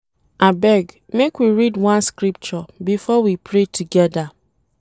Abeg, make we read one scripture before we pray togeda.